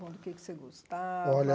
Bom do que você gostava? Olha